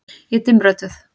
Ég er dimmrödduð.